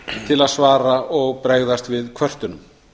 til að svara og bregðast við kvörtunum